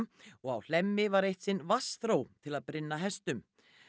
og á Hlemmi var eitt sinn til að brynna hestum